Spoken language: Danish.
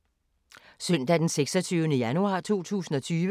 Søndag d. 26. januar 2020